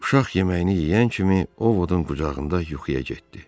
Uşaq yeməyini yeyən kimi Ovodun qucağında yuxuya getdi.